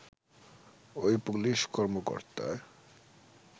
ওই পুলিশ কর্মকর্তা